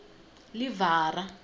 livhara